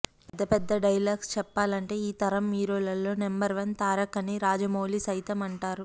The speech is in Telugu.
పెద్ద పెద్ద డైలాగ్స్ చెప్పాలంటే ఈ తరం హీరోలలో నెంబర్ వన్ తారక్ అని రాజమౌళి సైతం అంటారు